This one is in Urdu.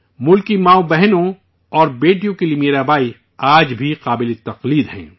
ملک کی ماؤں، بہنوں اور بیٹیوں کے لیے میرا بائی آج بھی حوصلے کا باعث ہیں